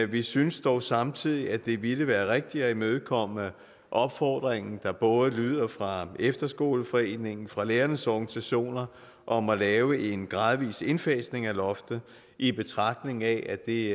vi synes dog samtidig at det ville være rigtigt at imødekomme opfordring der både lyder fra efterskoleforeningen og fra lærernes organisationer om at lave en gradvis indfasning af loftet i betragtning af at det